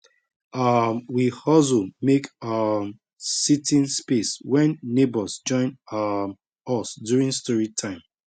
um we hustle make um seating space when neighbors join um us during story time